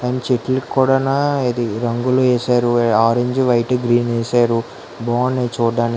చెట్లు కూడానా ఇది రంగులు ఏశారు ఆరెంజ్ వైట్ గ్రీన్ ఏశారు బావున్నాయి చూడ్డా --